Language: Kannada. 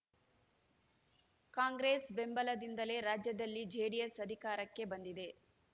ಕಾಂಗ್ರೆಸ್‌ ಬೆಂಬಲದಿಂದಲೇ ರಾಜ್ಯದಲ್ಲಿ ಜೆಡಿಎಸ್‌ ಅಧಿಕಾರಕ್ಕೆ ಬಂದಿದೆ